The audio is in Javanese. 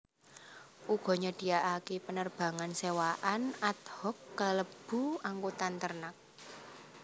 Uga nyediakaké penerbangan sewaan ad hoc kalebu angkutan ternak